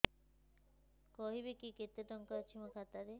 କହିବେକି କେତେ ଟଙ୍କା ଅଛି ମୋ ଖାତା ରେ